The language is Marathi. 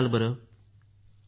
हो सर